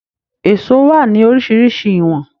Èsó wà ní oríṣiríṣi ìwọ̀n.